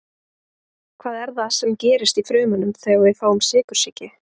hvað er það sem gerist í frumunum þegar við fáum sykursýki